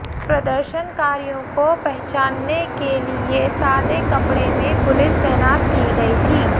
प्रदर्शनकारियों को पहचानने के लिए सादे कपड़े में पुलिस तैनात की गई थी